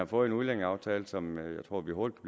fået en udlændingeaftale som jeg tror vi hurtigt